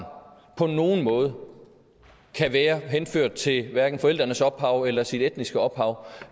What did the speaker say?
på nogen måde kan være henført til hverken forældrenes ophav eller sit etniske ophav